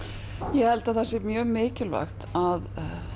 ég held það sé mikilvægt að